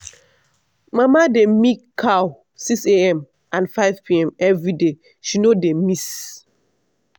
mama dey milk cow 6am and 5pm every day she no dey miss.